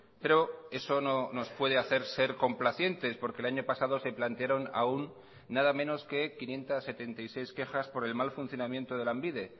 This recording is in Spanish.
pero eso no nos puede hacer ser complacientes porque el año pasado se plantearon aún nada menos que quinientos setenta y seis quejas por el mal funcionamiento de lanbide